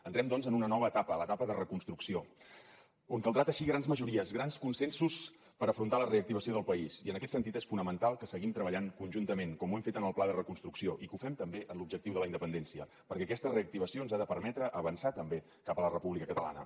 entrem doncs en una nova etapa a l’etapa de reconstrucció on caldrà teixir grans majories grans consensos per afrontar la reactivació del país i en aquest sentit és fonamental que seguim treballant conjuntament com ho hem fet en el pla de reconstrucció i que ho fem també en l’objectiu de la independència perquè aquesta reactivació ens ha de permetre avançar també cap a la república catalana